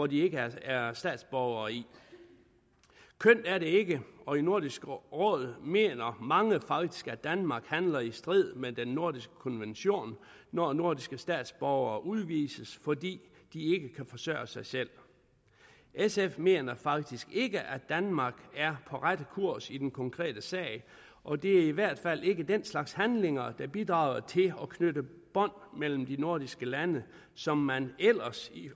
de ikke er statsborgere i kønt er det ikke og i nordisk råd mener mange faktisk at danmark handler i strid med den nordiske konvention når nordiske statsborgere udvises fordi de ikke kan forsørge sig selv sf mener faktisk ikke at danmark er på rette kurs i den konkrete sag og det er i hvert fald ikke den slags handlinger der bidrager til at knytte bånd mellem de nordiske lande som man ellers